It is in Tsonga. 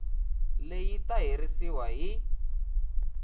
leyi yi ta herisiwa hi